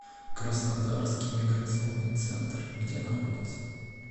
краснодарский миграционный центр где находится